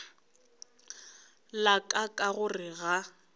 la ka ka gore ga